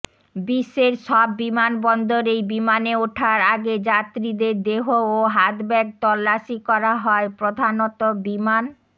বিশ্বের সব বিমানবন্দরেই বিমানে ওঠার আগে যাত্রীদের দেহ ও হাতব্যাগ তল্লাশি করা হয় প্রধানত বিমান